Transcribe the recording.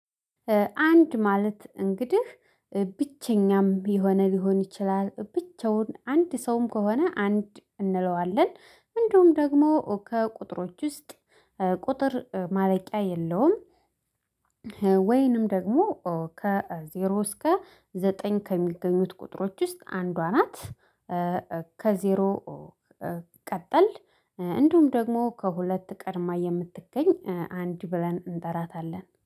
አንድ ማለት እንግዲህ ብቸኛም የሆነ ሊሆን ይችላል ብቻውን አንድ ሰውም ከሆነ አንድ እንለዋለን እንዲሁም ደግሞ ከቁጥሮች ውስጥ ቁጥር ማለቂያ የለውም። ወይንም ደግሞ ከዜሮ እስከ ዘጠኝ ከሚገኙት ቁጥሮች ውስጥ አንዷ ናት። ከዜሮ ቀጠል እንዲሁም ደግሞ ከሁለት ቀድማ የምትገኝ አንድ ብለን እንጠራታለን